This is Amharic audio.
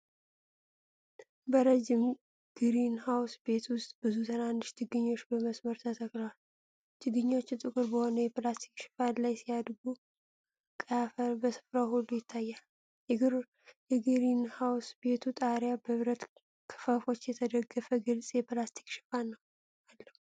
በረጅም ግሪንሃውስ ቤት ውስጥ ብዙ ትናንሽ ችግኞች በመስመር ተተክለዋል። ችግኞቹ ጥቁር በሆነ የፕላስቲክ ሽፋን ላይ ሲያድጉ፣ ቀይ አፈር በስፍራው ሁሉ ይታያል። የግሪንሃውስ ቤቱ ጣሪያ በብረት ክፈፎች የተደገፈ ግልጽ የፕላስቲክ ሽፋን አለው።